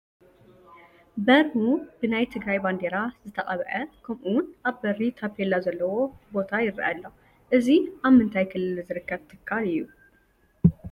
በሩ ብናይ ትግራይ ባንዴራ ዝተቐብዐ ከምኡውን ኣብ በሪ ታፔላ ዘለዎ ቦታ ይርአ ኣሎ፡፡ እዚ ኣብ ምንታይ ክልል ዝርከብ ትካል እዩ?